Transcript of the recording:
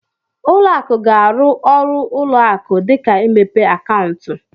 Uo akụ ga-arụ ọrụ ụlọ akụ dịka imepe akaụntụ.